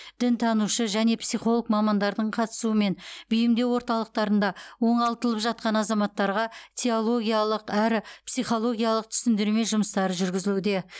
дінтанушы және психолог мамандардың қастысуымен бейімдеу орталықтарында оңалтылып жатқан азаматтарға теологиялық әрі психологиялық түсіндірме жұмыстары жүргізілуде